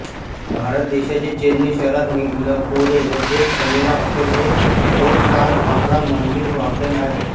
भारत देश्याचे चेन्नई शहरात मिलपोरे येथे सवेरा हॉटेल हे फोर स्टार अकरा मजली हॉटेल आहे